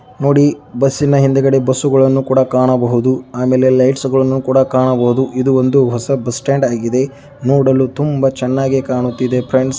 ನೋಡಿ ಬಸ್ಸಿನ ಹಿಂದೆ ಬಸ್ಸುಗಳನ್ನು ಕಾಣಬಹುದು ಆಮೇಲೆ ಲೈಟ್ಸ್ ಗಳನ್ನೂ ಕಾಣಬಹುದು ಇದು ಒಂದು ಹೊಸ ಬಸ್ ಸ್ಟಾಂಡ್ ಆಗಿದೆ. ನೋಡಲು ತುಂಬಾ ಚೆನ್ನಾಗಿ ಕಾಣುತ್ತಿದೆ ಫ್ರೆಂಡ್ಸ್ .